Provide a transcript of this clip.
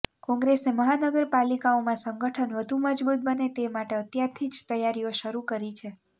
કોંગ્રેસે મહાનગરપાલિકાઓમાં સંગઠન વધુ મજબૂત બને તે માટે અત્યારથી જ તૈયારીઓ શરૂ કરી છે